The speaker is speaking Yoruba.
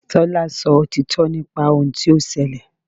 Tọ́lá sọ òtítọ́ nípa ohun tí ó ṣẹlẹ̀.